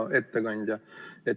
Hea ettekandja!